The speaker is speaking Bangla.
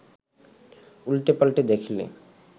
উল্টেপাল্টে দেখলে